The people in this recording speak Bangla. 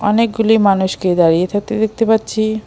অনেকগুলি মানুষকে দাঁড়িয়ে থাকতে দেখতে পাচ্ছি।